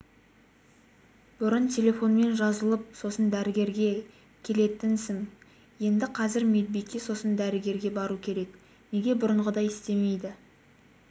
бұрын телефонмен жазылып сосын дәрігерге келетінсің енді қазір медбикеге сосын дәрігерге бару керек неге бұрынғыдай істемейді